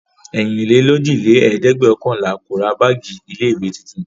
Ẹ̀rinlélójìlẹ́ẹ̀dẹ́gbẹ̀ọ̀kànlà kò le ra báágì ilé-ìwé tuntun.